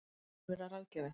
Hann mun vera ráðgjafi